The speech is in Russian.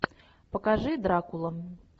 покажи дракула